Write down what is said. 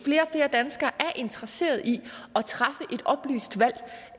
flere danskere er interesseret i at træffe